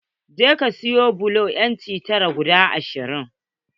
Je ka sayo bulo inci tara guda ashirin.